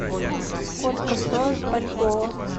сколько стоит бальбоа